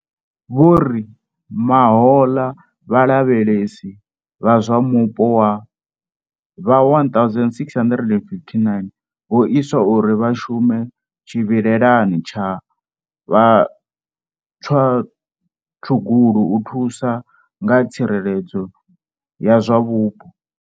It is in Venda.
Vho ri Mahoḽa vhalavhelesi vha zwa mupo vha 1 659 vho iswa u ri vha shume tshivhilelani tsha vhatswatshugulu u thusa nga tsireledzo ya zwa mupo.